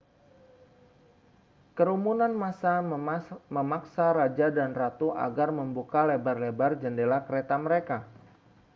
kerumunan massa memaksa raja dan ratu agar membuka lebar-lebat jendela kereta mereka